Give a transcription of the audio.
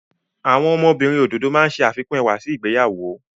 Àwọn ọmọbìnrin òdòdó máa ń ṣe àfikún ẹwà sí ìgbéyàwó.